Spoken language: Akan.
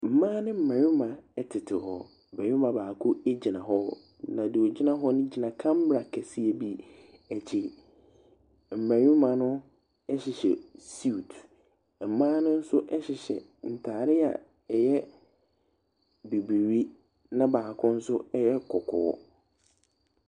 Mmaa ne mmarima tete hɔ. Barima baako gyina hɔ, na nea ogyina hɔ no gyina camel akɛseɛ bi akyi. Mmarima no hyehyɛ suit. Mmaa no nso hyehyɛ ntaare a ɛyɛ bibiri na baako nso yɛ kɔkɔɔ.